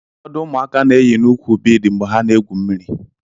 Ụfọdụ ụmụaka na-eyi n'úkwù bead mgbe ha na-egwu mmiri.